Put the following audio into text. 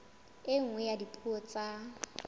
e nngwe ya dipuo tsa